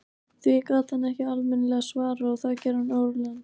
Því gat hann ekki almennilega svarað og það gerði hann órólegan.